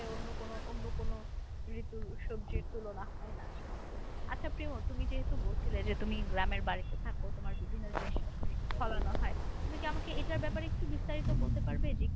অন্য কোনো